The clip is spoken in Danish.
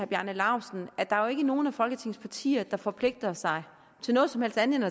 bjarne laustsen at der er nogen af folketingets partier der forpligter sig til noget som helst andet